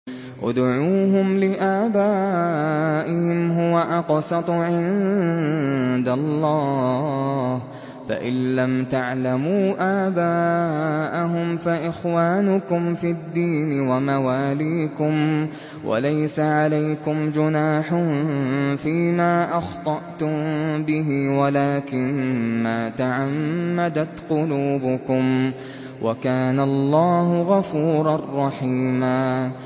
ادْعُوهُمْ لِآبَائِهِمْ هُوَ أَقْسَطُ عِندَ اللَّهِ ۚ فَإِن لَّمْ تَعْلَمُوا آبَاءَهُمْ فَإِخْوَانُكُمْ فِي الدِّينِ وَمَوَالِيكُمْ ۚ وَلَيْسَ عَلَيْكُمْ جُنَاحٌ فِيمَا أَخْطَأْتُم بِهِ وَلَٰكِن مَّا تَعَمَّدَتْ قُلُوبُكُمْ ۚ وَكَانَ اللَّهُ غَفُورًا رَّحِيمًا